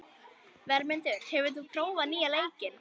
Vermundur, hefur þú prófað nýja leikinn?